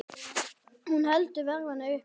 Hún heldur verðinu uppi.